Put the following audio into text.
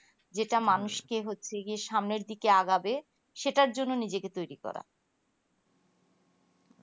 যেটা মানুষকে হচ্ছে সামনের দিকে আগাবে সেটার জন্য নিজেকে তৈরী করা